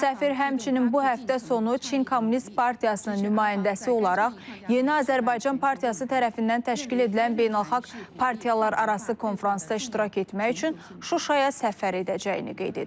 Səfir həmçinin bu həftə sonu Çin Kommunist Partiyasının nümayəndəsi olaraq yeni Azərbaycan partiyası tərəfindən təşkil edilən beynəlxalq partiyalararası konfransda iştirak etmək üçün Şuşaya səfər edəcəyini qeyd edib.